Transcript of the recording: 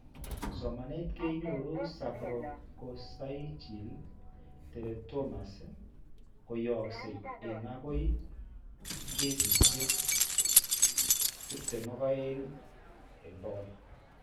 Somanet konyor sacrococcygeal teratomas koyaksye en agoy kesiisyek 22%.